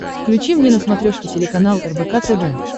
включи мне на смотрешке телеканал рбк тв